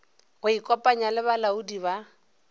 go ikopanya le balaodi ba